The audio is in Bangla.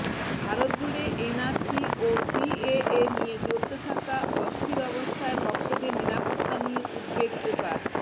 ভারতজুড়ে এনআরসি ও সিএএ নিয়ে চলতে থাকা অস্থির অবস্থায় ভক্তদের নিরাপত্তা নিয়ে উদ্বেগ প্রকাশ